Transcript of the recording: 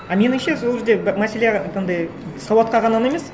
а меніңше сол жерде мәселе андай сауатқа ғана емес